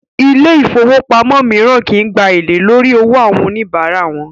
Ilé ifówópamọ́ míràn kìí gbà èlé lórí owó àwọn oníbárà wọn